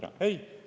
Ei!